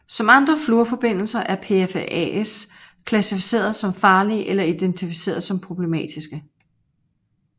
Som andre fluorforbindelser er PFAS klassificeret som farlige eller identificeret som problematiske